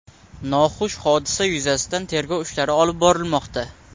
Noxush hodisa yuzasidan tergov ishlari olib borilmoqda.